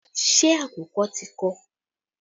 Ṣé àkùkọ ti kọ?